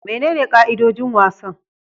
Menene ka'idojin wasan?